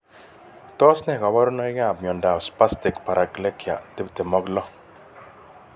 Tos ne kaborunoikab miondop spastic paraplegia 26?